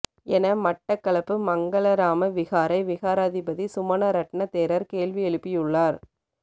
என மட்டக்களப்பு மங்களராமா விகாரை விகாராதிபதி சுமணரட்ன தேரர் கேள்வி எழுப்பியுள்ளார்